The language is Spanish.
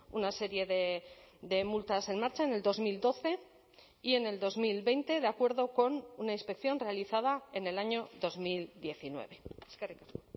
una serie de multas en marcha en el dos mil doce y en el dos mil veinte de acuerdo con una inspección realizada en el año dos mil diecinueve eskerrik asko